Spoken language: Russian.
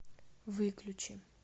выключи